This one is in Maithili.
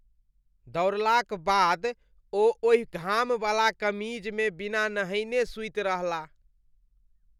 दौड़लाक बाद ओ ओहि घामवला कमीजमे बिना नहयने सूति रहलाह।